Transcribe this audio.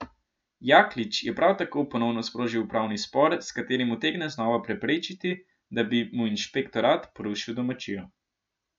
Jaklič je prav tako ponovno sprožil upravni spor, s katerim utegne znova preprečiti, da bi mu inšpektorat porušil domačijo.